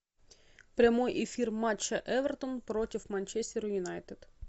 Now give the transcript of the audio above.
прямой эфир матча эвертон против манчестер юнайтед